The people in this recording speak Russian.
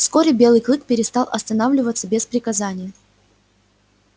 вскоре белый клык перестал останавливаться без приказания